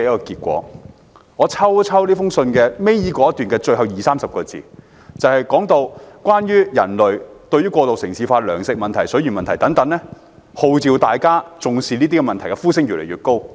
這封信倒數第二段的最後二三十個字，提到過度城市化、糧食問題和水源問題等，而號召大家正視這些問題的呼聲越來越高。